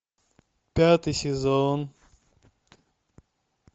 пятый сезон